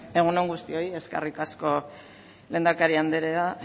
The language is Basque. egun on guztioi eskerrik asko lehendakari andrea